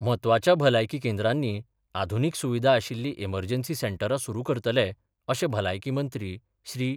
म्हत्वाच्या भलायकी केंद्रांनी आधुनीक सुविधा आशिल्ली एमर्जन्सी सेंटरां सुरू करतले, अशें भलायकी मंत्री श्री.